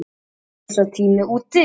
Nú er sá tími úti.